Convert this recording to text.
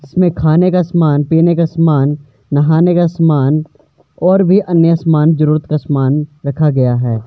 इसमें खाने का सामान पीने का सामान नहाने का सामान और भी अन्य सामान जरूरत का सामान रखा गया है।